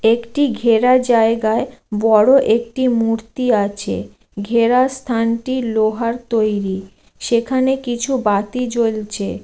একটি ঘেরা জায়গায় বড়ো একটি মূর্তি আছে ঘেরা স্থানটি লোহার তৈরি। সেখানে কিছু বাতি জ্বলছে ।